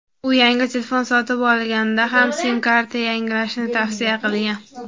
u yangi telefon sotib olganda ham sim-karta yangilashni tavsiya qilgan.